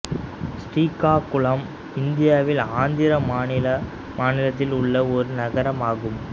ஸ்ரீகாகுளம் இந்தியாவின் ஆந்திர மாநிலத்தில் உள்ள ஒரு நகரம் ஆகும்